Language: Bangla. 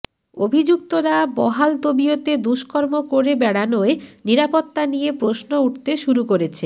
অভিযুক্তরা বহালতবিয়তে দুষ্কর্ম করে বেড়ানোয় নিরাপত্তা নিয়ে প্রশ্ন উঠতে শুরু করেছে